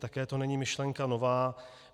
Také to není myšlenka nová.